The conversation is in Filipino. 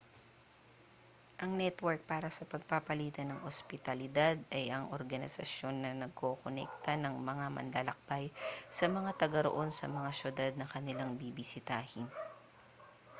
ang network para sa pagpapalitan ng ospitalidad ay ang organisasyon na nagkokonekta ng mga manlalakbay sa mga tagaroon sa mga siyudad na kanilang bibisitahin